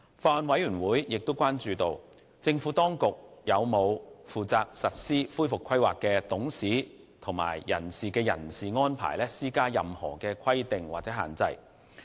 法案委員會亦關注到，政府當局有否對負責實施恢復規劃的董事及人士的人事安排施加任何規定或限制。